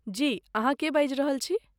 जी, अहाँ के बाजि रहल छी?